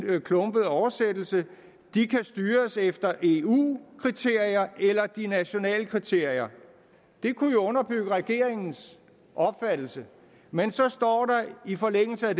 klumpede oversættelse styres efter eu kriterier eller de nationale kriterier det kunne jo underbygge regeringens opfattelse men så står der i forlængelse af